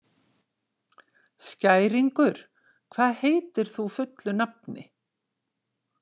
Skæringur, hvað heitir þú fullu nafni?